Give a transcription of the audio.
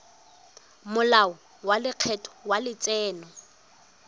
molao wa lekgetho wa letseno